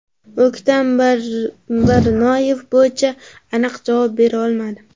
O‘ktam Barnoyev bo‘yicha aniq javob bera olmadi.